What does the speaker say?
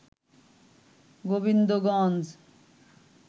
Gobindaganj